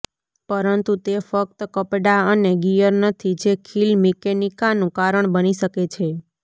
પરંતુ તે ફક્ત કપડાં અને ગિયર નથી જે ખીલ મિકેનિકાનું કારણ બની શકે છે